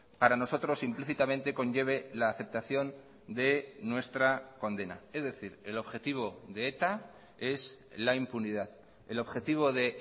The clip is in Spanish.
para nosotros implícitamente conlleve la aceptación de nuestra condena es decir el objetivo de eta es la impunidad el objetivo de